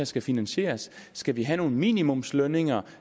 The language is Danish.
skal finansieres skal vi have nogle minimumslønninger